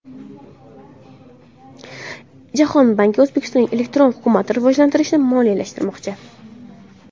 Jahon banki O‘zbekistonda elektron hukumat rivojlantirilishini moliyalashtirmoqchi.